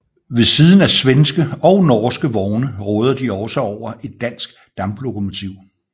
Ved siden af svenske og norske vogne råder de også over et dansk damplokomotiv